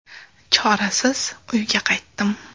Chorasiz uyga qaytdim.